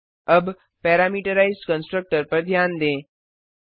अब parameterized constructor पर ध्यान दें